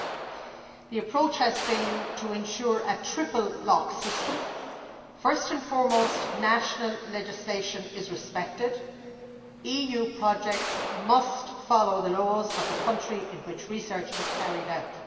7. The approach has been to ensure a triple lock system first and foremost national legislation is respected, EU projects must follow the laws of the country in which research is carried out